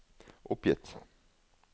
oppgitt